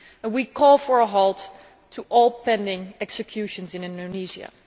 We call for a halt to all pending executions in Indonesia.